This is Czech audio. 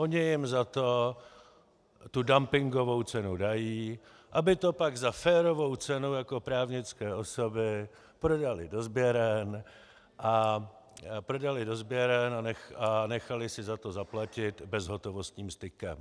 Oni jim za to tu dumpingovou cenu dají, aby to pak za férovou cenu jako právnické osoby prodali do sběren a nechali si za to zaplatit bezhotovostním stykem.